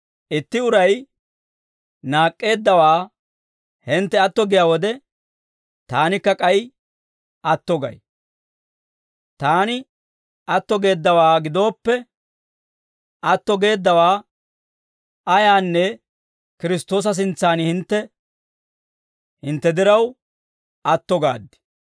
Itti uray naak'k'eeddawaa hintte atto giyaa wode, taanikka k'ay atto gay; taani atto geeddawaa gidooppe, atto geeddawaa ayaanne Kiristtoosa sintsan hintte diraw, atto gaad.